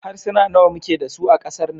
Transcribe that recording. Harsuna nawa muke da su a kasar nan?